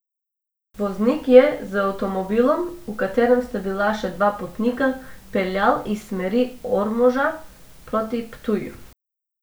Voznik je z avtomobilom, v katerem sta bila še dva potnika, peljal iz smeri Ormoža proti Ptuju.